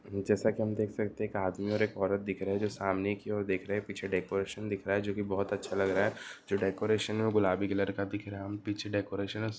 जैसा की हम देख सकते है एक आदमी और एक औरत दिख रहे जो सामने की और देख रहे है पीछे डेकोरेशन दिख रहा है जो की बहुत अच्छा लग रहा है जो डेकोरेशन है औ गुलाबी कलर का दिख रहा है पीछे डेकोरेशन --